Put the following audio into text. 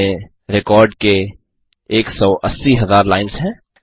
इसमें रिकॉर्ड के 180000 लाईन्स हैं